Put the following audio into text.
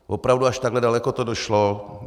Opravdu až takhle daleko to došlo.